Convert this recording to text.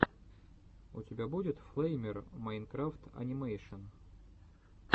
у тебя будет флэймер майнкрафт анимэшен